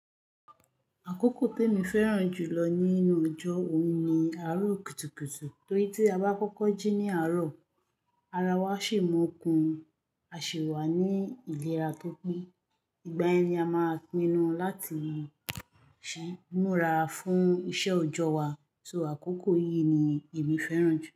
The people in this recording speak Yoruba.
Àkókò temi fẹ́ràn jù lọ nínú ọjọ́ òun ni àárọ̀ kùtùkùtù torí tí a bá kọ́kọ́ jí ní àárọ̀, ara wa sì mu o kun, a sì wà ní ìlera tó pé. Ìgbà yẹn ni a máa pinu láti ṣí ń múra fún iṣẹ́ òjọ́ wa. So àkókò yìí ni èmi fẹ́ràn jù.